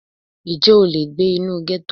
Ǹjẹ́ o lè gbé inú gẹ́tò?